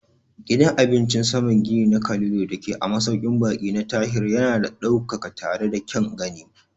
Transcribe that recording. Gidan cin abincin saman gini na Calido dake a masaukin baƙi na Tahir yana da ɗaukaka tare da kyan gani.